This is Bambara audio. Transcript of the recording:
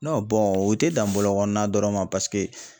u te dan bɔlɔkɔɔna dɔrɔn ma